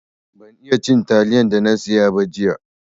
Ban iya cin atilen da na siya ba jiya.